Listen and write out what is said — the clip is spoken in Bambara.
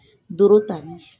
Doro tali.